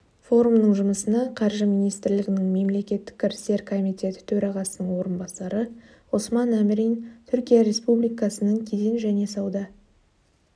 форумның жұмысына қаржы министрлігінің мемлекеттік кірістер комитеті төрағасының орынбасары ғұсман әмірин түркия республикасының кеден және сауда